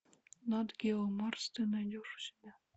нат гео марс ты найдешь у себя